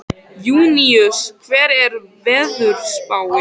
Júníus, hvernig er veðurspáin?